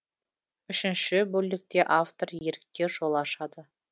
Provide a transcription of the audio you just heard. үшінші бөлікте автор ерікке жол ашады